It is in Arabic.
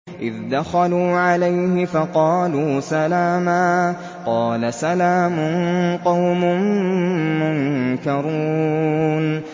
إِذْ دَخَلُوا عَلَيْهِ فَقَالُوا سَلَامًا ۖ قَالَ سَلَامٌ قَوْمٌ مُّنكَرُونَ